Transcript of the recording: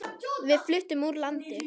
Við fluttum úr landi.